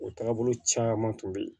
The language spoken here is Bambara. O taabolo caman tun bɛ yen